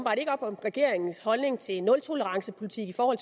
op om regeringens holdning til nultolerancepolitik når